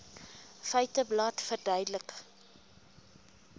feiteblad verduidelik